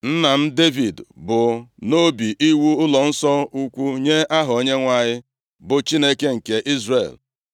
“Nna m, Devid bu nʼobi iwu ụlọnsọ ukwu nye Aha Onyenwe anyị, bụ Chineke nke Izrel.